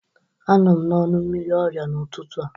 Anọ m n'ọnụ mmiri ọrịa n'ụtụtụ a.